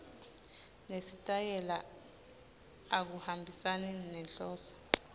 nesitayela akuhambisani nenhloso